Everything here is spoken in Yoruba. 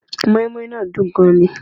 Móínmóín náà dùn gan ni